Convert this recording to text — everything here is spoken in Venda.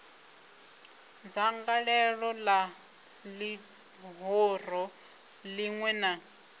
dzangalelo la lihoro linwe na